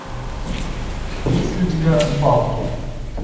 есть ли у тебя балто